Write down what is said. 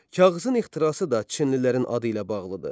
Kağızın ixtirası da çinlilərin adı ilə bağlıdır.